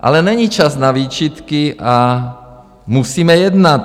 Ale není čas na výčitky a musíme jednat.